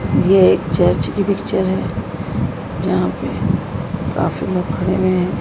ये एक चर्च की पिक्चर है जहां पे काफी लोग खड़े हुए है।